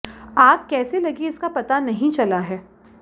आग कैसे लगी इसका पता नहीं चला है